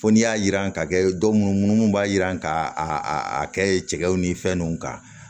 Fo n'i y'a jiran ka kɛ dɔ mun mun b'a jiran ka a kɛ cɛkɛw ni fɛn nunnu kan